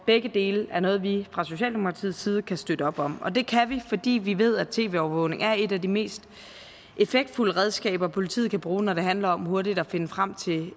begge dele er noget vi fra socialdemokratiets side kan støtte op om og det kan vi fordi vi ved at tv overvågning er et af de mest effektfulde redskaber politiet kan bruge når det handler hurtigt at finde frem til